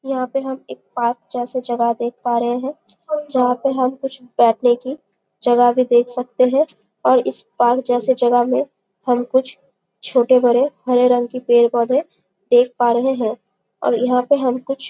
यहाँ पे हम एक पार्क जैसे जगह देख पा रहे है जहाँ पे हम कुछ बैठने की जगह भी देख सकते है और इस पार्क जैसे जगह में हम कुछ छोटे बड़े हरे रंग के पेड़-पौधे देख पा रहे है और यहाँ पे हम कुछ --